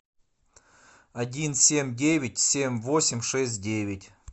один семь девять семь восемь шесть девять